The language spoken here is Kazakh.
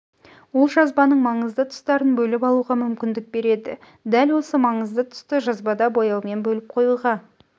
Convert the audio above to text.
ол жазбаның маңызды тұстарын бөліп алуға мүмкіндік береді дәл осы маңызды тұсты жазбада бояумен бөліп қоюға